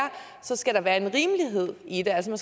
skal der være en rimelighed i det altså